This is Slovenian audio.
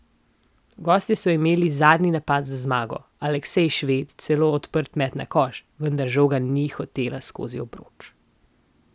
Gostje so imeli zadnji napad za zmago, Aleksej Šved celo odprt met na koš, vendar žoga ni hotela skozi obroč.